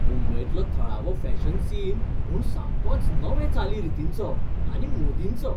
मुंबयंतलो थळावो fashion scene म्हूण सामकोच नवे चाली रितींचो आनी मोदींचो.